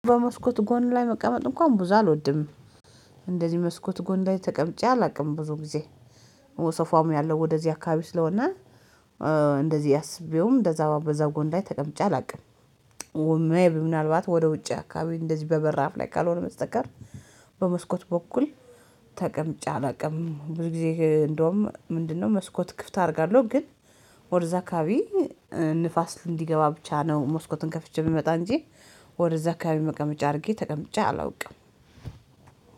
በመስኮት ጎን ላይ መቀመጥ እንኳን ብዙ አልወድም። እንደዚህ መስኮት ጎን ላይ ተቀምጬ አላውቅም ብዙ ጊዜ ሶፋዉም ያለው ወደዚህ አካባቢ ስለሆነ እንደዚህ አስቤውም እንደዛ በዛ ጎን ላይ ተቀምጬ አላውቅም። ወማዬ ምናልባት ወደ ውጭ አካባቢ እንደዚህ በበራፍ ላይ ካልሆነ መስተቀር። በመስኮት በኩል። ተቀምጬ አላውቅም ብዙ ጊዜ እንደውም ምንድነው? መስኮት ክፍት አደርጋለሁ ግን ወደዛ አካባቢ ንፋስ እንዲገባ ብቻ ነው ሞስኮትን ከፍቼ ምመጣ እንጂ። ወደዛ አካባቢ መቀመጫ አድርጌ ተቀምጬ አላውቅም።